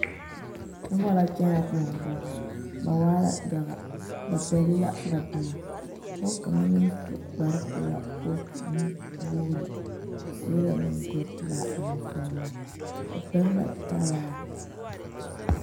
Noba la kyɛnɛ koɔ poɔ ba waa la yaga ba pɛgle la ba boma pɔge kaŋa naŋ su kparepelaa kootunuwogri o seɛ la monkuripelaa ane sɔglaa o pɛgle la talaa.